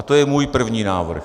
A to je můj první návrh.